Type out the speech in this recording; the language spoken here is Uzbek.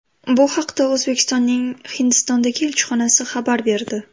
Bu haqda O‘zbekistonning Hindistondagi elchixonasi xabar berdi.